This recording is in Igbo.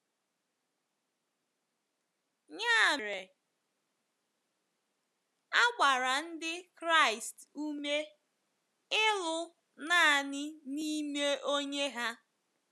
Ya mere, a gbara Ndị Kraịst ume ịlụ nanị n’ime Onye ha.